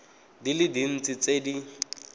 di le dintsi tse di